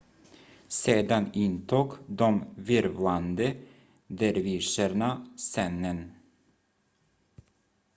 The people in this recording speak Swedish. sedan intog de virvlande dervischerna scenen